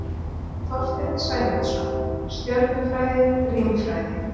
Þorsteinn Sæmundsson, Stjörnufræði- Rímfræði.